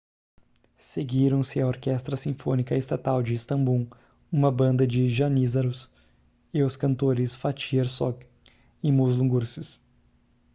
seguiram-se a orquestra sinfônica estatal de istambul uma banda de janízaros e os cantores fatih erkoç e muslum gurses